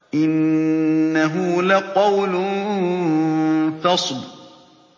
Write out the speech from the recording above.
إِنَّهُ لَقَوْلٌ فَصْلٌ